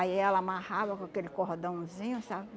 Aí ela amarrava com aquele cordãozinho, sabe?